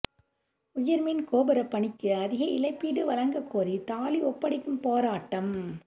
உயர்மின் கோபுர பணிக்கு அதிக இழப்பீடு வழங்கக்கோரி தாலி ஒப்படைக்கும் போராட்டம்